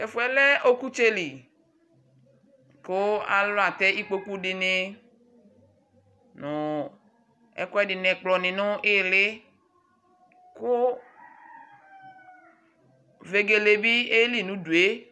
Tu ɛfu yɛ lɛ ɔkutsɛ li ku alu atɛ ikpokpu dini nu ɛku ɛdi ɛkplɔni nu iili ku vegele bi oyeli nu udu yɛ